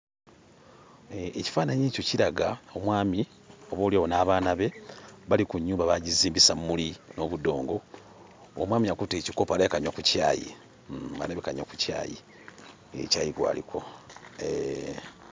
Eeh ekifaananyi ekyo kiraga omwami oboolyawo n'abaana be bali ku nnyumba baagizimbisa mmuli n'obudongo. Omwami akutte ekikopo alabika anywa ku caayi, mm alabika anywa ku caayi, eeh caayi gw'aliko eeh.